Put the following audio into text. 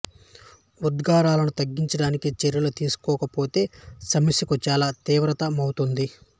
ఉద్గారాలను తగ్గించడానికి చర్యలు తీసుకోకపోతే సమస్యకు చాలా తీవ్రతర మౌతుంది